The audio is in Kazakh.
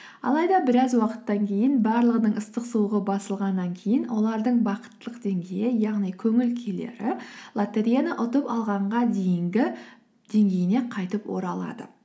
алайда біраз уақыттан кейін барлығының ыстық суығы басылғаннан кейін олардың бақыттылық деңгейі яғни көңіл күйлері лотереяны ұтып алғанға дейінгі деңгейіне қайтып оралады